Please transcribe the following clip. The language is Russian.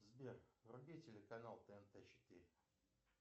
сбер вруби телеканал тнт четыре